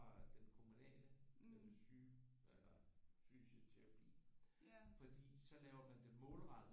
Fra den kommunale den syge eller fysioterapi fordi så laver man det målrettet